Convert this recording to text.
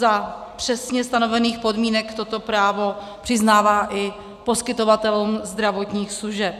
Za přesně stanovených podmínek toto právo přiznává i poskytovatelům zdravotních služeb.